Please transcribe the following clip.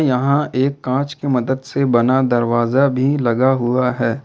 यहां एक कांच की मदद से बना दरवाजा भी लगा हुआ है।